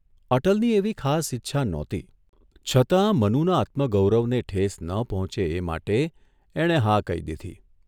અટલની એવી ખાસ ઇચ્છા નહોતી છતાં મનુના આત્મગૌરવ ને ઠેસ ન પહોંચે એ માટે એણે હા કહી દીધી.